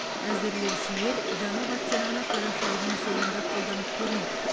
әзірлеушілер жаңа вакцинаны қараша айының соңында қолданып көрмек